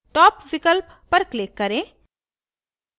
top विकल्प पर click करें